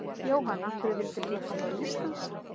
Jóhann: Af hverju vildir þú koma til Íslands?